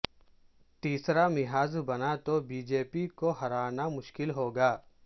تیسرا محاذ بنا تو بی جے پی کو ہرانا مشکل ہوگا